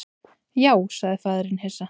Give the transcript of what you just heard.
Já, sagði faðirinn hissa.